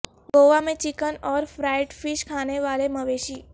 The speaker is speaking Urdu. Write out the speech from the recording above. گوا میں چکن اور فرائڈ فش کھانے والے مویشی